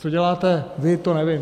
Co děláte vy, to nevím.